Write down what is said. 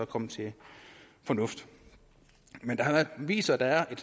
kommet til fornuft men det har vist sig at der er